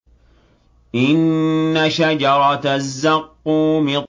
إِنَّ شَجَرَتَ الزَّقُّومِ